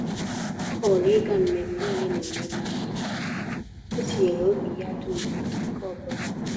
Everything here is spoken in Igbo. Ọ họọrọ ịga mmemme ole na ole mana o tinyere obi ya dum na nke ọbụla.